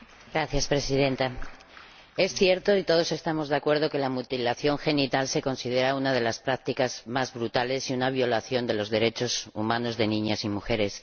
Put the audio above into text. Señora Presidenta, es cierto y todos estamos de acuerdo que la mutilación genital se considera una de las prácticas más brutales y una violación de los derechos humanos de niñas y mujeres.